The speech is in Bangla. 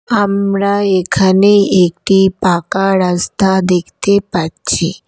আমরা এখানে একটি পাকা রাস্তা দেখতে পাচ্ছি।